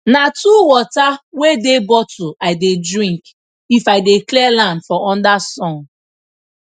na two water wey dey bottle i dey drink if i dey clear land for under sun